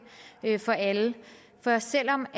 for alle for selv om